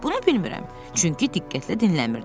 Bunu bilmirəm, çünki diqqətlə dinləmirdim.